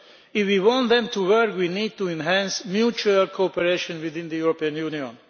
If we want them to work, we need to enhance mutual cooperation within the European Union.